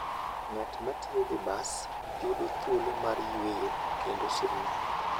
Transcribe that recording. Ng'at ma tiyo gi bas yudo thuolo mar yueyo kendo somo.